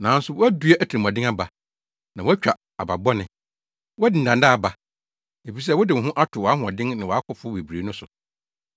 Nanso woadua atirimɔden aba, na woatwa aba bɔne. Woadi nnaadaa aba. Efisɛ wode wo ho ato wʼahoɔden ne wʼakofo bebrebe no so,